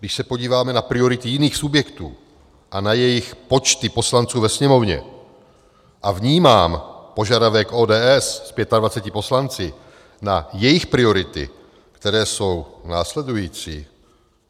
Když se podíváme na priority jiných subjektů a na jejich počty poslanců ve Sněmovně a vnímám požadavek ODS s 25 poslanci na jejich priority, které jsou následující...